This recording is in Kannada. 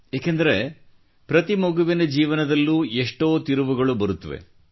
ಏಕೆಂದರೆ ಪ್ರತಿ ಮಗುವಿನ ಜೀವನದಲ್ಲೂ ಎಷ್ಟೋ ತಿರುವುಗಳು ಬರುತ್ತವೆ